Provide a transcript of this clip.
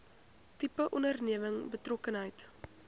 tipe onderneming betrokkenheid